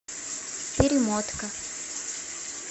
перемотка